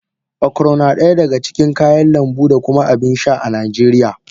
Okro na daya daga cikin kayan lambu da kuma abin sha a Najeriya.